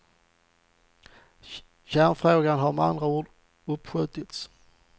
Kärnfrågan har med andra ord uppskjutits.